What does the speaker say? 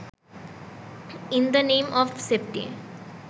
in the name of safety